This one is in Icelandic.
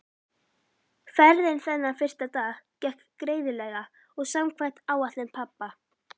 Ferðin þennan fyrsta dag gekk greiðlega og samkvæmt áætlun pabba.